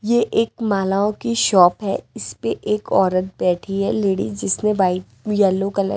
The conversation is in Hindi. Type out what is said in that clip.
ये एक मालाओं की शॉप है इस पे एक औरत बैठी है लेडी जिसने वाइट येलो कलर --